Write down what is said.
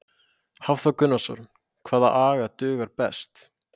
Hafþór Gunnarsson: Hvaða agn dugar best?